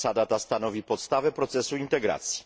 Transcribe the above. Zasada ta stanowi podstawę procesu integracji.